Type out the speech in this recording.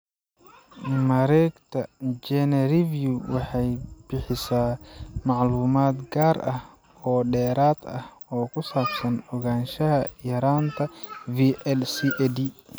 Mareegta GeneReview waxay bixisaa macluumaad gaar ah oo dheeraad ah oo ku saabsan ogaanshaha yaraanta VLCAD.